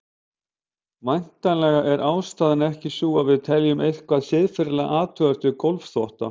Væntanlega er ástæðan ekki sú að við teljum eitthvað siðferðilega athugavert við gólfþvotta.